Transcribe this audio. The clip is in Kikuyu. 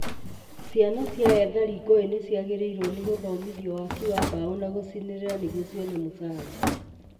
Ciana cia ethari ngũĩ nĩciagĩrĩirwo nĩ gũthomithio waki wa mbaũ na gũcinĩrĩra nĩguo cione mũcara